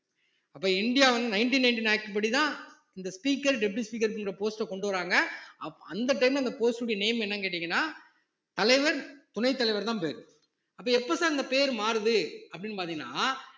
அப்ப இந்தியா வந்து nineteen ninety act படிதான் இந்த speaker deputy speaker ன்ற post அ கொண்டு வர்றாங்க அப்~ அந்த time ல அந்த post உடைய name என்னன்னு கேட்டீங்கன்னா தலைவர் துணைத் தலைவர்தான் பேரு அப்ப எப்ப sir அந்த பேர் மாறுது அப்படின்னு பார்த்தீங்கன்னா